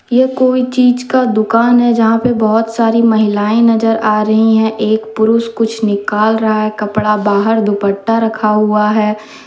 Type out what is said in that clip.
ये कोई चीज का दुकान है जहां पर बहुत सारी महिलाएं नजर आ रही है एक पुरुष कुछ निकाल रहा है कपड़ा बाहर दुपट्टा रखा हुआ है।